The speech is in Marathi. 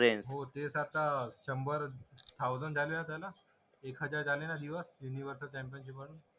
हो ते तर आता शंबर थाउजंड झाले असेल ना